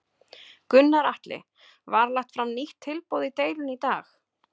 Gunnar Atli: Var lagt fram nýtt tilboð í deilunni í dag?